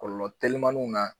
Kɔlɔlɔ telimaninw na